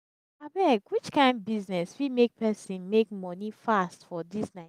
abeg which kain business fit make person make money fast for dis naija?